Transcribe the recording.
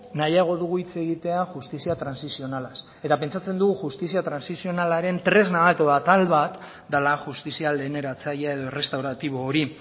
nahiago dugu hitz egitea justizia transikzionalaz eta pentsatzen dugu justizia transikzionalaren tresna bat edo atal bat dela justizia lehen eratzailea edo errestauratibo hori